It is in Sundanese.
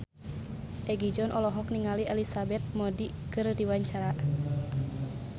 Egi John olohok ningali Elizabeth Moody keur diwawancara